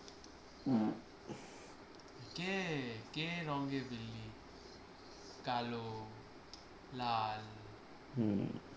কে কে রংয়ের বিল্লি কালো লাল হম